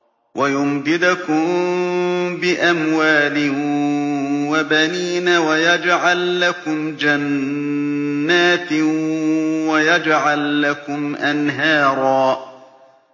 وَيُمْدِدْكُم بِأَمْوَالٍ وَبَنِينَ وَيَجْعَل لَّكُمْ جَنَّاتٍ وَيَجْعَل لَّكُمْ أَنْهَارًا